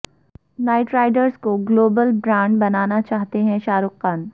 night Riders کو global brand بنانا چاہتے ہیں شاہ رخ